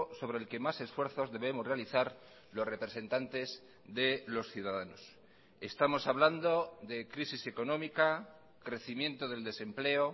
sobre el que más esfuerzos debemos realizar los representantes de los ciudadanos estamos hablando de crisis económica crecimiento del desempleo